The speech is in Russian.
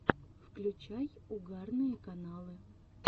включай угарные каналы